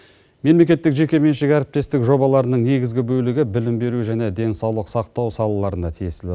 мемлекеттік жекеменшік әріптестік жобаларының негізгі бөлігі білім беру және денсаулық сақтау салаларына тиесілі